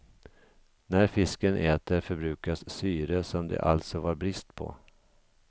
När fisken äter förbrukas syre som det alltså var brist på.